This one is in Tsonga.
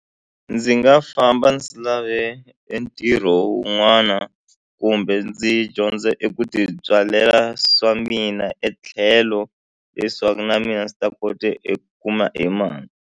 Ndzi nga famba ndzi lave entirho wun'wana kumbe ndzi dyondza eku tibyalela swa mina etlhelo leswaku na mina ndzi ta kota i kuma emali.